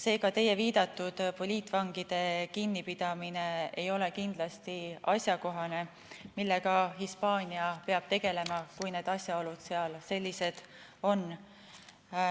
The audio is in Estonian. Seega teie viidatud poliitvangide kinnipidamine ei ole kindlasti asjakohane, millega Hispaania peab tegelema, kui need asjaolud seal sellised on.